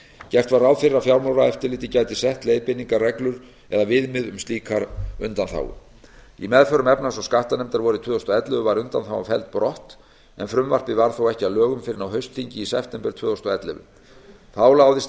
gert var ráð fyrir að fjármálaeftirlitið gæti sett leiðbeiningarreglur eða viðmið um slíka undanþágu í meðförum efnahags og skattanefndar vorið tvö þúsund og ellefu var undanþágan felld brott en frumvarpið varð þó ekki að lögum fyrr en á haustþingi í september tvö þúsund og ellefu þá láðist að